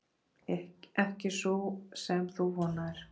Ekki sú sem þú vonaðir.